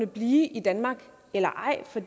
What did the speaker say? blive i danmark eller ej for